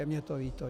Je mi to líto.